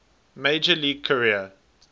major league career